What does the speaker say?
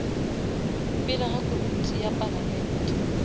pele ga komiti ya palamente